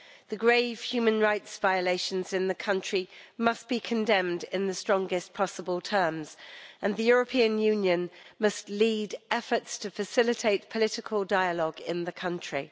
The grave human rights violations in the country must be condemned in the strongest possible terms, and the European Union must lead efforts to facilitate political dialogue in the country.